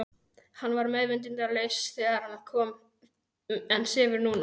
Hann var meðvitundarlaus þegar hann kom en sefur núna.